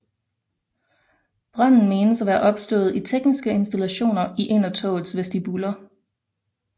Branden menes at være opstået i tekniske installationer i en af togets vestibuler